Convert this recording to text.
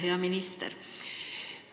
Hea minister!